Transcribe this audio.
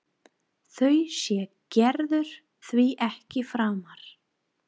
Þau sér Gerður því ekki framar.